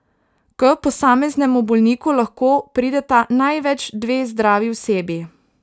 K posameznemu bolniku lahko prideta največ dve zdravi osebi.